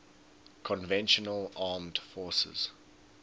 conventional armed forces